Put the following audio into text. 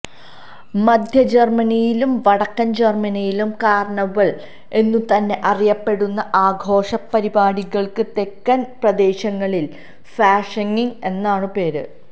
മധ്യജര്മനിയിലും വടക്കന് ജര്മനിയിലും കാര്ണിവല് എന്നു തന്നെ അറിയപ്പെടുന്ന ആഘോഷ പരിപാടികള്ക്ക് തെക്കന് പ്രദേശങ്ങളില് ഫാഷിംഗ് എന്നാണു പേര്